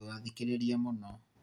ndũgathĩkĩrĩrie mũno